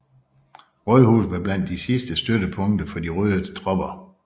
Rådhuset var blandt de sidste støttepunkter for de røde tropper